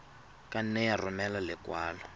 ka nne ya romela lekwalo